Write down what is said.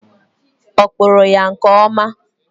Ọ kpuru ya nke ọma?